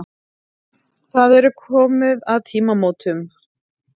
Það er komið að tímamótunum.